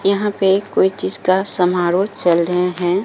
यहां पे कोई चीज का समारोह चल रहे हैं।